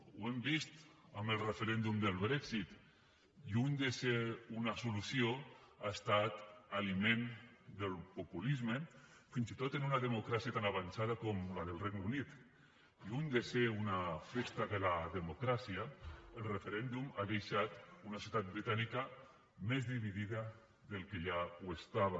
ho hem vist amb el referèndum del brexit lluny de ser una solució ha estat aliment del populisme fins i tot en una democràcia tan avançada com la del regne unit lluny de ser una festa de la democràcia el referèndum ha deixat una ciutat britànica més dividida del que ja ho estava